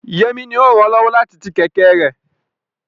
Yemi ni ó ràn án lọ́wọ́ láti ti kẹ̀kẹ́ rẹ̀.